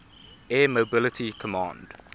air mobility command